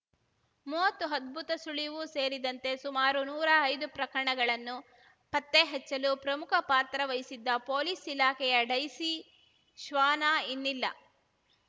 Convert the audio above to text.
ಮೂವತ್ತು ಅದ್ಭುತ ಸುಳಿವು ಸೇರಿದಂತೆ ಸುಮಾರು ನೂರಾ ಐದು ಪ್ರಕರಣಗಳನ್ನು ಪತ್ತೆ ಹಚ್ಚುಲು ಪ್ರಮುಖ ಪಾತ್ರವಹಿಸಿದ್ದ ಪೊಲೀಸ್‌ ಇಲಾಖೆಯ ಡೈಸಿ ಶ್ವಾನ ಇನ್ನಿಲ್ಲ